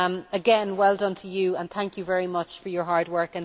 Again, well done to you, and thank you very much for your hard work.